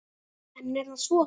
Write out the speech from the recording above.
En er það svo.